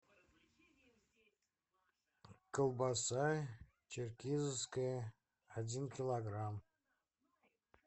колбаса черкизовская один килограмм